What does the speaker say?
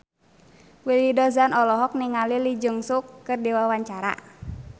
Willy Dozan olohok ningali Lee Jeong Suk keur diwawancara